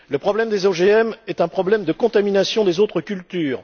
Le problème des OGM est un problème de contamination des autres cultures.